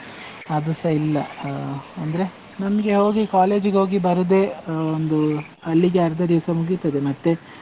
ಅದುಸ ಇಲ್ಲ, ಅಹ್ ಅಂದ್ರೆ ನಮ್ಗೆ ಯಾವಗ್ಲೂ college ಗೆ ಹೋಗಿ ಬರುದೇ ಅಹ್ ಒಂದು ಅಲ್ಲಿಗೆ ಅರ್ದ ದಿವ್ಸ ಮುಗಿತದೆ ಮತ್ತೆ,